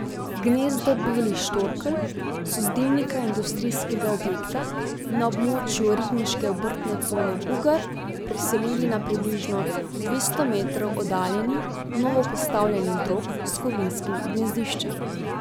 Gnezdo belih štorkelj so z dimnika industrijskega objekta na območju ribniške obrtne cone Ugar preselili na približno dvesto metrov oddaljeni novopostavljeni drog s kovinskim gnezdiščem.